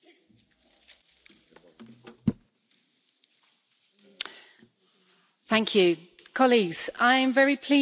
Mr President, I am very pleased that we have such strong cross party support for this debate on this resolution in this Parliament today.